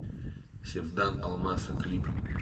севдан олмаса клип